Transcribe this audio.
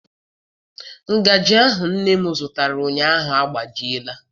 Ngajị ahụ nne m zụtara ụnyaahụ agbajiela.